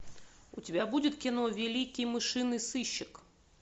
у тебя будет кино великий мышиный сыщик